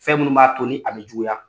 Fɛn munun b'a to ni a be juguya.